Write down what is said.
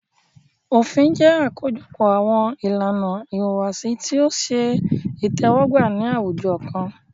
Òfin jẹ́ àkójọpọ̀ àwọn ìlànà ìhùwàsí tí o ṣe itẹ́wọ́gbà ní àwùjọ kan.